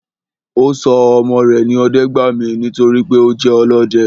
Ọ́ sọ ọmọ re ní Ọdẹ́gbàmí nítorí pé o je olọdẹ